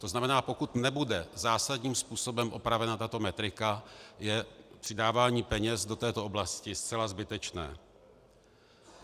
To znamená, pokud nebude zásadním způsobem opravena tato metrika, je přidávání peněz do této oblasti zcela zbytečné.